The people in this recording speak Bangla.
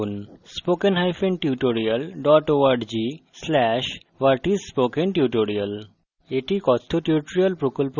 এই লিঙ্কে উপলব্ধ video দেখুন